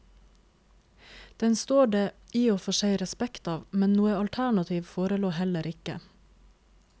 Den står det i og for seg respekt av, men noe alternativ forelå heller ikke.